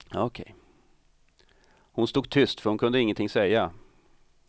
Hon stod tyst, för hon kunde ingenting säga.